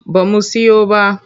Ba mu siyo ba.